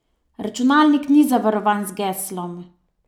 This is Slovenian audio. Računalnik ni zavarovan z geslom.